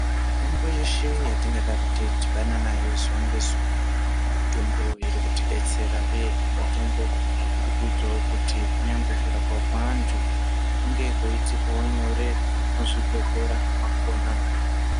Mitombo yeshe yatinga daro tei dhibana nayo zuva nge zuva mitombo iri kuti detsera uyehe mitombo iri kuitawo kuti kunyangwe kurapwa kwe vantu kunge kwei itikawo nyore mu zvibhedhlera mwakona.